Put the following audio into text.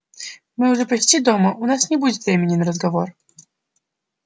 мы уже почти дома у нас не будет времени на разговор